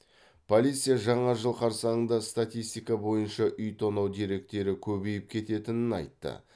полиция жаңа жыл қарсаңында статистика бойынша үй тонау деректері көбейіп кететінін айтты